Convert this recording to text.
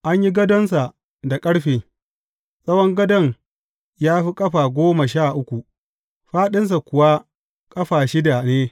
An yi gadonsa da ƙarfe, tsawon gadon ya fi ƙafa goma sha uku, fāɗinsa kuwa ƙafa shida ne.